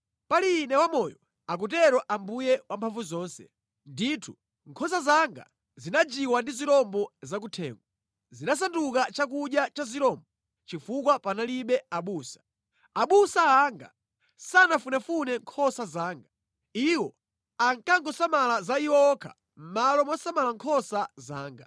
Pali Ine wamoyo, akutero Ambuye Wamphamvuzonse, ndithu, nkhosa zanga zinajiwa ndi zirombo zakuthengo, zinasanduka chakudya cha zirombo chifukwa panalibe abusa. Abusa anga sanafunefune nkhosa zanga. Iwo ankangosamala za iwo okha mʼmalo mosamala nkhosa zanga.